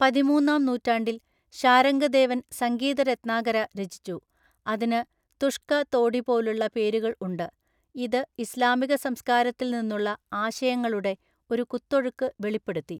പതിമൂന്നാം നൂറ്റാണ്ടിൽ ശാരംഗദേവൻ സംഗീത രത്‌നാകര രചിച്ചു, അതിന് തുഷ്‌ക തോഡി പോലുള്ള പേരുകൾ ഉണ്ട്, ഇത് ഇസ്ലാമിക സംസ്കാരത്തിൽ നിന്നുള്ള ആശയങ്ങളുടെ ഒരു കുത്തൊഴുക്ക് വെളിപ്പെടുത്തി.